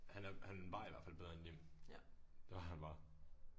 Han er han var i hvert fald bedre end dem. Det var han bare